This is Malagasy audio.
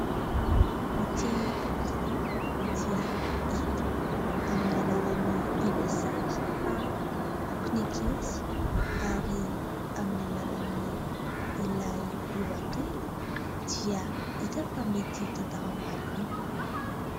Ity boky ity dia hita amin'ny alalan'ny ilay sary fa bokin'ankizy ary amin'ny alalan'ny ilay lohateny dia hita fa mety tantara mahaliana.